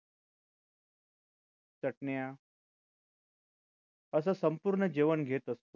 चटण्या असा संपूर्ण जेवण घेत असतो